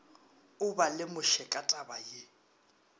o ba lemoše ka tabaye